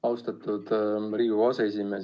Austatud Riigikogu aseesimees!